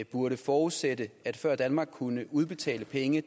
burde forudsætte at før danmark kunne udbetale penge